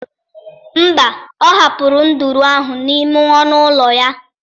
Mba, ọ hapụrụ nduru ahụ n'ime ọnụ ụlọ ya.